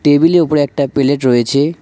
টেবিলের উপরে একটা প্লেট রয়েছে।